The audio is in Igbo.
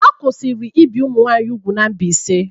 A kwụsịrị ibi ụmụ nwanyị úgwù n'Mbaise.